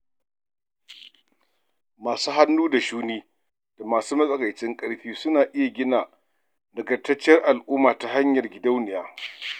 Masu hannu da shuni da masu matsakaicin ƙarfi suna iya gina nagartacciyar al'umma ta hanyar gidauniya